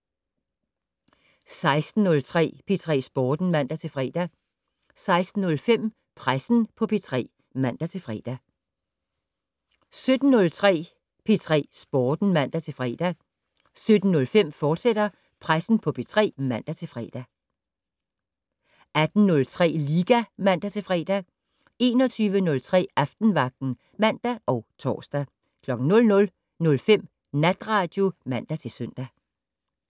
16:03: P3 Sporten (man-fre) 16:05: Pressen på P3 (man-fre) 17:03: P3 Sporten (man-fre) 17:05: Pressen på P3, fortsat (man-fre) 18:03: Liga (man-fre) 21:03: Aftenvagten (man og tor) 00:05: Natradio (man-søn)